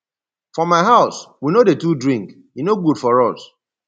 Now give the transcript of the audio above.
for my house we no dey too drink e no good for us